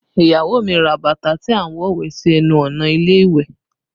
Iyawo mi ra bàtà tí a ń wọ wẹ̀ sí ẹnu ọ̀nà ilé ìwẹ̀